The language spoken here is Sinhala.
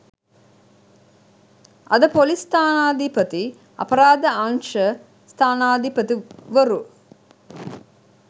අද ‍පොලිස් ස්ථානාධිපති අපරාධ අංශ ස්ථානාධිපතිවරු